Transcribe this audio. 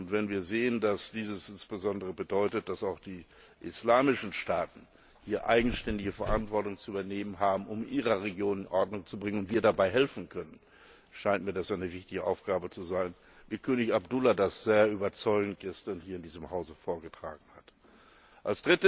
Wenn wir sehen, dass das insbesondere bedeutet, dass auch die islamischen Staaten hier eigenständige Verantwortung zu übernehmen haben, um ihre Region in Ordnung zu bringen, und wir dabei helfen können, scheint mir das eine wichtige Aufgabe zu sein, wie König Abdullah das gestern in diesem Hause sehr überzeugend vorgetragen hat.